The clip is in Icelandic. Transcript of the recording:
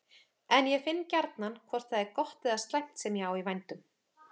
En ég finn gjarnan hvort það er gott eða slæmt sem ég á í vændum.